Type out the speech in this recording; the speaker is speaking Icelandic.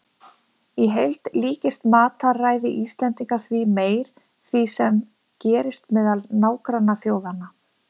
Í heild líkist matarræði Íslendinga því æ meir því sem gerist meðal nágrannaþjóðanna.